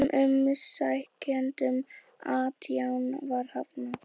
Öllum umsækjendunum átján var hafnað